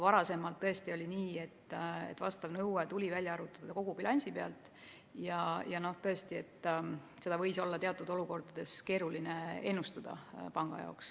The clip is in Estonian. Varasemalt oli tõesti nii, et vastav nõue tuli välja arvutada kogu bilansi põhjal ja seda võis olla teatud olukordades pangal keeruline ennustada.